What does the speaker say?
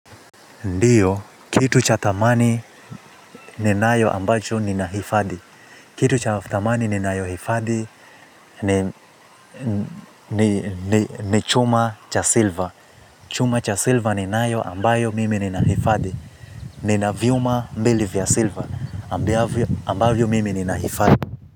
Ndiyo, kitu cha thamani ninayo ambacho ni nahifadi. Kitu cha thamani ninayohifadhi ni chuma cha silva. Chuma cha silva ni nayo ambayo mimi ni nahifadi. Nina vyuma mbili vya silva ambavyo ambavyo mimi ninahifadhi.